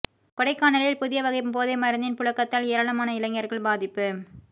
கொடைக்கானலில் புதிய வகை போதை மருந்தின் புழக்கத்தால் ஏராளமான இளைஞர்கள் பாதிப்பு